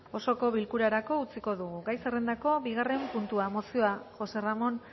osoko bilkurarako utziko dugu gai zerrandako bigarren puntua mozioa josé ramón